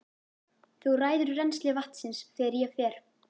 Þú ræður rennsli vatnsins þegar ég fer.